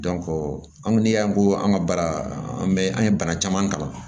an ko ni y'an ko an ka baara an bɛ an ye bana caman kalan